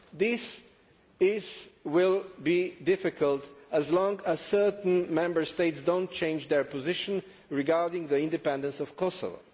This will be difficult as long as certain Member States do not change their position regarding the independence of Kosovo.